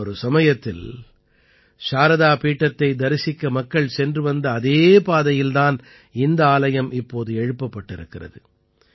முன்னொரு சமயத்தில் சாரதா பீடத்தை தரிசிக்க மக்கள் சென்று வந்த அதே பாதையில் தான் இந்த ஆலயம் இப்போது எழுப்பப்பட்டிருக்கிறது